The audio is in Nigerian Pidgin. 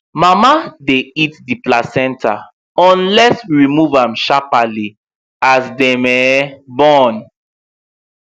mama dy eat the placenta unless we remove am sharparly as dem born